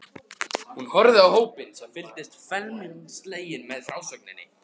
Hún horfði á hópinn sem fylgdist felmtri sleginn með frásögninni.